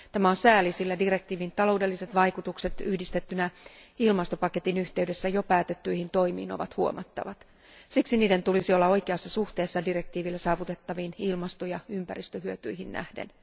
Tämä on sääli, sillä direktiivin taloudelliset vaikutukset yhdistettynä ilmastopaketin yhteydessä jo päätettyihin toimiin ovat huomattavat. Siksi niiden tulisi olla oikeassa suhteessa direktiivillä saavutettaviin ilmasto ja ympäristöhyötyihin nähden.